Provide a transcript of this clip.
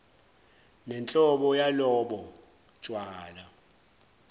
nenhlobo yalobo tshwala